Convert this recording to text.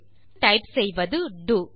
இப்போது டைப் செய்வது டோ